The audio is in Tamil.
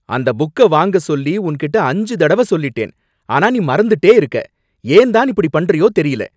அந்த புக்க வாங்கச் சொல்லி உன்கிட்ட அஞ்சு தடவ சொல்லிட்டேன், ஆனா நீ மறந்துட்டே இருக்க, ஏன் தான் இப்படி பண்றியோ தெரியல!